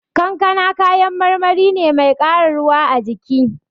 Kankana kayan marmari ne mai ƙara ruwa a jiki.